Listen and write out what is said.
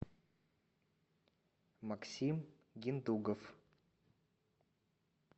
максим гендуков